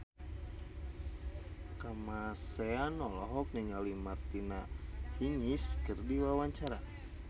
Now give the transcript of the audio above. Kamasean olohok ningali Martina Hingis keur diwawancara